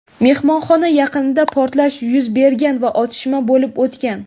Mehmonxona yaqinida portlash yuz bergan va otishma bo‘lib o‘tgan.